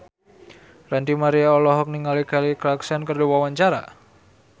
Ranty Maria olohok ningali Kelly Clarkson keur diwawancara